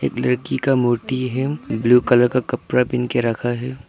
लड़की का मूर्ति है ब्लू कलर का कपड़ा पहन के रखा है।